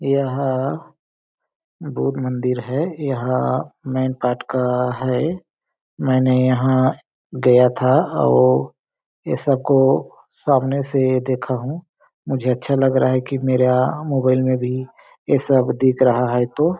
यहाँ बुध मंदिर है यहाँ मेन पार्ट का है मैंने यहाँ गया था और ये सबको सामने से देखा हूं मुझे अच्छा लग रहा है कि मेरा मोबाइल में भी ये सब दिख रहा है तो --